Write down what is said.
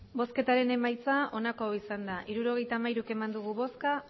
botoak hirurogeita hamairu bai